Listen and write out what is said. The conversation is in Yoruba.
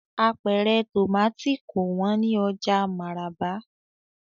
Apẹ̀rẹ̀ tomati kò wón ni oja Maraba.